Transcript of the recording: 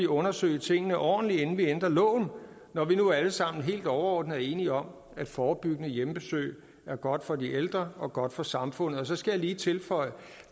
undersøge tingene ordentligt inden man ændrer loven når vi nu alle sammen helt overordnet er enige om at forebyggende hjemmebesøg er godt for de ældre og godt for samfundet så skal jeg lige tilføje